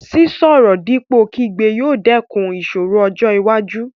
Sísọ̀rọ̀ dípò kígbe yóò dẹ́kun ìṣòro ọjọ́ iwájú.